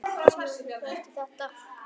Segðu mér, hver er þetta?